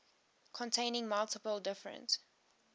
containing multiple different